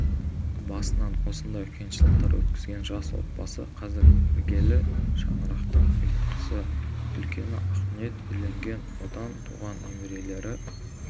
басынан осындай қиыншылықтар өткізген жас отбасы қазір іргелі шаңырақтың ұйтқысы үлкені ақниет үйленген одан туған немерелері